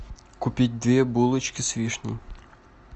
купить две булочки с вишней